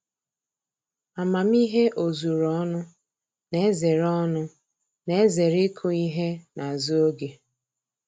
Amamihe ozuru ọnụ na-ezere ọnụ na-ezere ịkụ ihe n'azụ oge